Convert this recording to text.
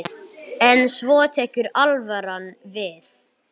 En svo tekur alvaran við.